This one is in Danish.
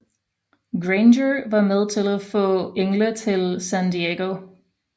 Granger var med til at få Engle til San Diego